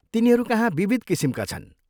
तिनीहरूकहाँ विविध किसिमका छन्।